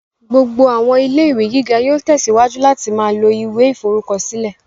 Gbogbo àwọn ilé-ìwé gíga yóò tẹsíwájú láti ma lo ìwé ìforúkọsílẹ̀